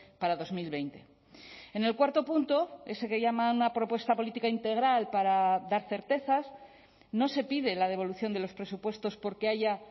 para dos mil veinte en el cuarto punto ese que llama una propuesta política integral para dar certezas no se pide la devolución de los presupuestos porque haya